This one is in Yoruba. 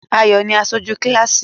Ayọ̀ ni aṣojú kíláàsì.